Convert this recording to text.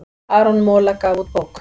Aron Mola gaf út bók